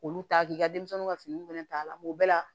Olu ta k'i ka denmisɛnninw ka finiw fana ta la mun bɛɛ la